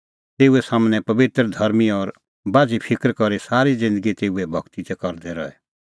तेऊ सम्हनै पबित्र धर्मीं और बाझ़ी फिकर करी सारी ज़िन्दगी तेऊए भगती करदै रहे